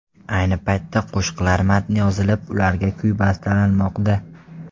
Ayni paytda qo‘shiqlar matni yozilib, ularga kuy bastalanmoqda.